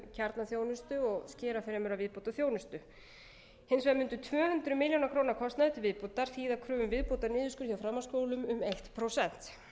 kjarnaþjónustu og skera fremur af viðbótarþjónustu hins vegar mundi tvö hundruð mæli króna kostnaður til viðbótar þýða kröfu um viðbótarniðurskurð hjá framhaldsskólum um eitt prósent